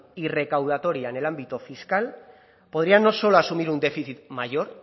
y recaudatoria en el ámbito fiscal podría no solo asumir un déficit mayor